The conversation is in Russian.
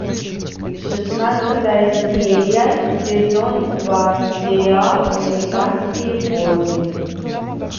шестнадцатая серия сезон два сериал американские боги